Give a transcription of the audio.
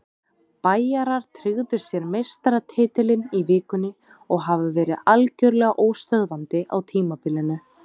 Bæjarar tryggðu sér meistaratitilinn í vikunni og hafa verið algjörlega óstöðvandi á tímabilinu.